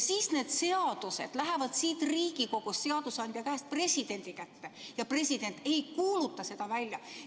Siis need seadused lähevad siit Riigikogust, seadusandja käest presidendi kätte, aga president ei kuuluta neid välja.